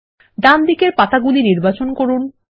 ডানদিকের পাতাগুলি নির্বাচন করুন